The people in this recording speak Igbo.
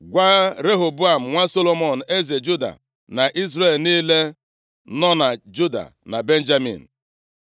“Gwa Rehoboam, nwa Solomọn eze Juda, na Izrel niile nọ na Juda na Benjamin,